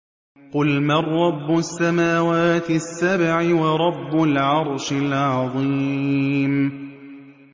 قُلْ مَن رَّبُّ السَّمَاوَاتِ السَّبْعِ وَرَبُّ الْعَرْشِ الْعَظِيمِ